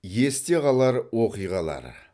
есте қалар оқиғалар